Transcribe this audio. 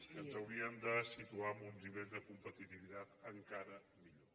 que ens haurien de situar en uns nivells de competitivitat encara millors